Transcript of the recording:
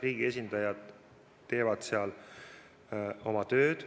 Riigi esindajad teevad seal oma tööd.